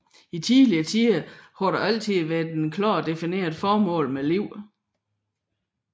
I tidligere tider har der altid været et klart defineret formål med livet